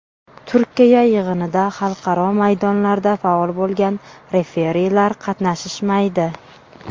Turkiya yig‘inida xalqaro maydonlarda faol bo‘lgan referilar qatnashishmaydi.